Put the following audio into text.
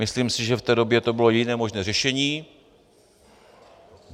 Myslím si, že v té době to bylo jediné možné řešení.